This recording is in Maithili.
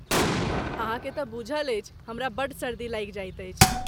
अहाँकेँ तँ बूझल अछि हमरा बड़ सर्दी लागि जाइत अछि।